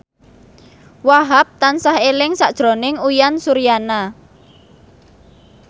Wahhab tansah eling sakjroning Uyan Suryana